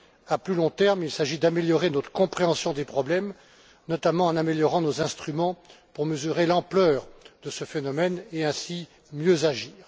À plus long terme, il s'agit d'améliorer notre compréhension des problèmes, notamment en améliorant nos instruments pour mesurer l'ampleur de ce phénomène et ainsi mieux agir.